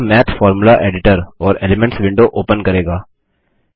यह math formula editor और elements window open करेगा